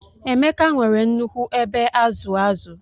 Emeka nwere nnukwu ebe azu azu.